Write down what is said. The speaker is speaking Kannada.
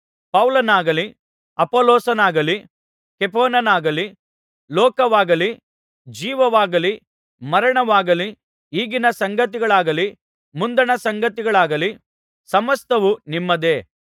ಪೌಲನಾಗಲಿ ಅಪೊಲ್ಲೋಸನಾಗಲಿ ಕೇಫನಾಗಲಿ ಲೋಕವಾಗಲಿ ಜೀವವಾಗಲಿ ಮರಣವಾಗಲಿ ಈಗಿನ ಸಂಗತಿಗಳಾಗಲಿ ಮುಂದಣ ಸಂಗತಿಗಳಾಗಲಿ ಸಮಸ್ತವೂ ನಿಮ್ಮದೇ